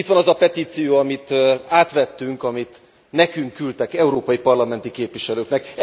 Itt van az a petíció, amit átvettünk, amit nekünk küldtek, európai parlamenti képviselőknek.